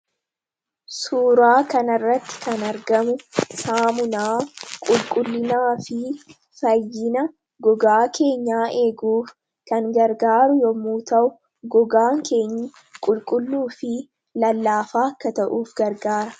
Suuraa kanarratti kan argamu saamunaa qulqullinaafi fayyina gogaa keenyaa eeguuf kan gargaaru yommuu ta'u, gogaan keenyi qulqulluufi lallaafaa akka ta'uuf gargaara.